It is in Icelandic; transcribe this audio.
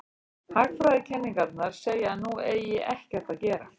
Hagfræðikenningarnar segja að nú eigi ekkert að gera.